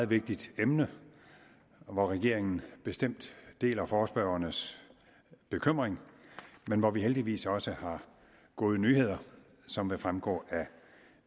vigtigt emne hvor regeringen bestemt deler forespørgernes bekymring men hvor vi heldigvis også har gode nyheder som vil fremgå af